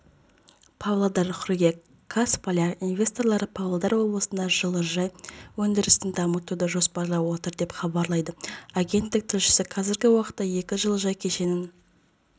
павлодар қыркүйек қаз поляк инвесторлары павлодар облысында жылыжай өндірісін дамытуды жоспарлап отыр деп хабарлайды агенттік тілшісі қазіргі уақытта екі жылыжай кешенін